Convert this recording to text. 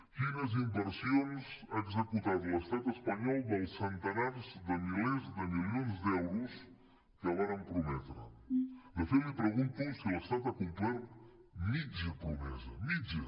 quines inversions ha executat l’estat espanyol dels centenars de milers de milions d’euros que varen prometre de fet li pregunto si l’estat ha complert mitja promesa mitja